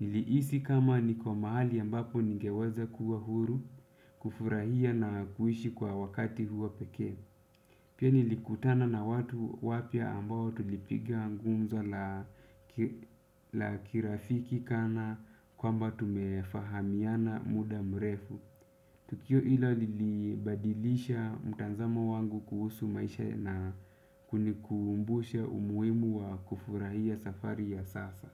Nilihisi kama niko mahali ambapo ningeweza kuwa huru. Kufurahia na kuishi kwa wakati huu wa pekee. Pia nilikutana na watu wapya ambao tulipigia gumzo la kirafiki kana kwamba tumefahamiana muda mrefu. Tukio hilo lilibadilisha mtazamo wangu kuhusu maisha na kunikumbusha umuhimu wa kufurahia safari ya sasa.